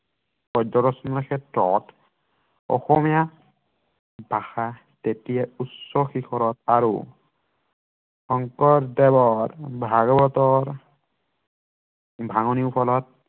গদ্যৰচনাৰ ক্ষেত্ৰত অসমীয়া ভাষা তেতিয়া উচ্চ শিখৰত আৰু শংকৰদেৱৰ ভাগৱতৰ ভাঙনিৰ ফলত